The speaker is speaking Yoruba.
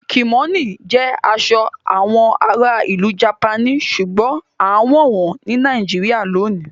Kimono jẹ aṣọ awọn àrà ilú Japani ṣùgbọ̀n àǹwọ wọn ni Nàìjíríyà lónì